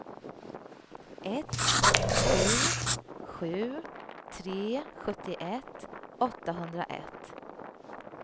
ett sju sju tre sjuttioett åttahundraett